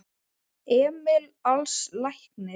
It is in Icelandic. Emil Als læknir.